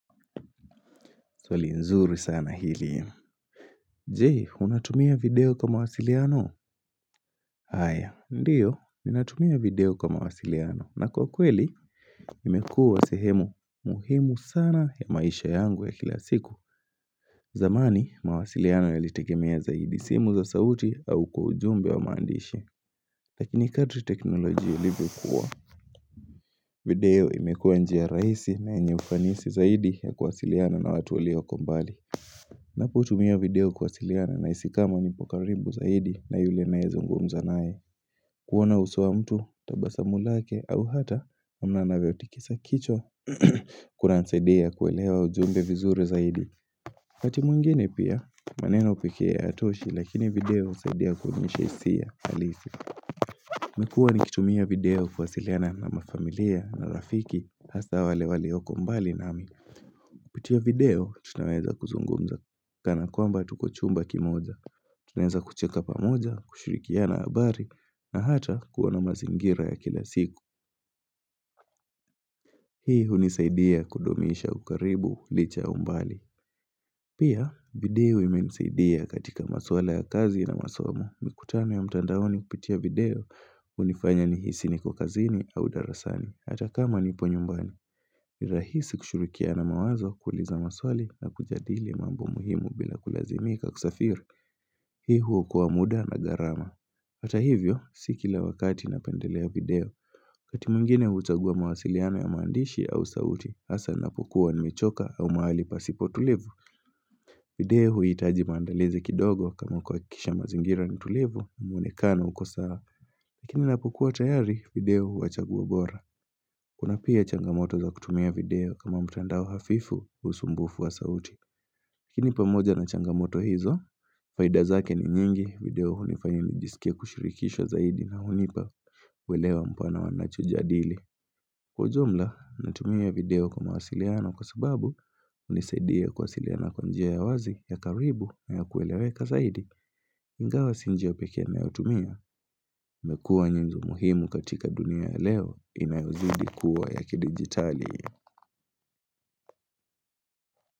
Swali nzuri sana hili ya Je, unatumia video kwa mawasiliano haya ndiyo ninatumia video kwa mawasiliano na kwa kweli imekuwa sehemu muhimu sana ya maisha yangu ya kila siku zamani mawasiliano yalitegemea zaidi simu za sauti au kwa ujumbe wa maandishi Lakini kadri teknolojia ilivyo kuwa video imekuwa njia rahisi na yenye ufanisi zaidi ya kuwasiliana na watu walioko mbali Napo tumia video kuwasiliana nahisi kama nipo karibu zaidi na yule naye zungumza naye kuona uso wa mtu tabasamu lake au hata kuona anavyo tikisa kichwa Kuna nisaidia kuelewa ujumbe vizuri zaidi wakati mwingine pia maneno pekee hayatoshi lakini video husaidia kuonyesha hisia halisi nimekuwa nikitumia video kuwasiliana na mafamilia na rafiki Hasa wale walioko mbali nami kupitia video tunaweza kuzungumza Kana kwamba tuko chumba kimoja. Tunaweza kucheka pamoja, kushirikiana habari na hata kuona mazingira ya kila siku. Hii hunisaidia kudumisha ukaribu licha umbali. Pia video imenisaidia katika maswala ya kazi na masomo. Mikutano ya mtandaoni hupitia video hunifanya nihisi niko kazini au darasani. Hata kama nipo nyumbani. Ni rahisi kushirikiana mawazo kuuliza maswali na kujadili mambo muhimu bila kulazimika kusafiri Hii huwa kwa muda na gharama Ata hivyo, si kila wakati napendelea video wakati mwingine huchagua mawasiliano ya maandishi au sauti hasa napokuwa nimechoka au mahali pasipo tulivu video huiitaji maandalizi kidogo kama kuhakikisha mazingira ni tulivu muonekano uko sawa Lakini inapokuwa tayari video huwa chaguo bora Kuna pia changamoto za kutumia video kama mtandao hafifu, usumbufu wa sauti. Lakini pamoja na changamoto hizo, faida zake ni nyingi video hunifanya nijiskie kushirikishwa zaidi na hunipa uelewa mpana wanacho jadili. Kwa ujumla, natumia video kwa mawasiliano kwa sababu hunisaidia kuwasiliana kwa njia ya wazi ya karibu na ya kueleweka zaidi. Ingawa si njia pekee ninayotumia imekua nyenzo muhimu katika dunia ya leo inayozidi kuwa ya kidigitali.